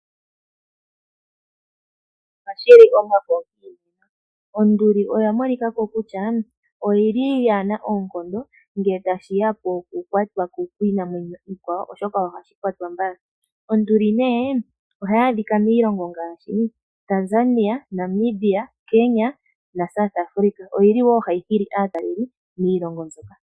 Ohashi li omafo. Onduli oya monika ko kutya kayi na oonkondo ngele tashi ya pokukwatwa kiinamwenyo iikwawo, oshoka ohashi kwatwa mbala. Onduli ohayi adhika miilongo ngaashi: Namibia, Tanzania, Kenya naSouth Afrika. Ohayi hili wo aatalelipo miilongo mbyoka.